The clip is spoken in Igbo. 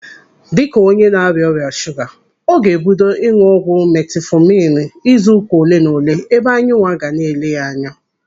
Dịka onye na-arịa ọrịa shuga, ọ ga-ebido ịnụ ọgwụ metifọminu izuụka olenaole ebe anyị nwa ga na-ele ya anya.